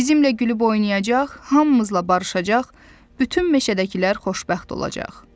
Bizimlə gülüb oynayacaq, hamımızla barışacaq, bütün meşədəkilər xoşbəxt olacaq.